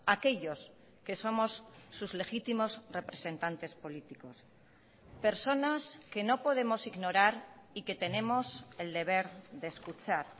aquellos que somos sus legítimos representantes políticos personas que no podemos ignorar y que tenemos el deber de escuchar